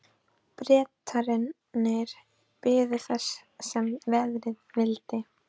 Bretarnir biðu þess sem verða vildi.